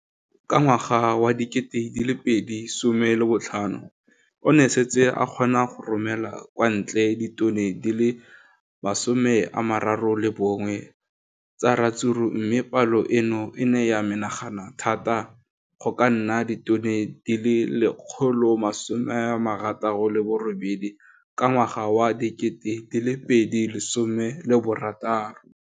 Ka ngwaga wa 2015, o ne a setse a kgona go romela kwa ntle ditone di le 31 tsa ratsuru mme palo eno e ne ya menagana thata go ka nna ditone di le 168 ka ngwaga wa 2016.